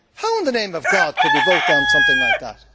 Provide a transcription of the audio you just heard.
How in the name of God could we vote down something like that?